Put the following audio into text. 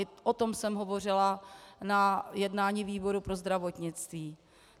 I o tom jsem hovořila na jednání výboru pro zdravotnictví.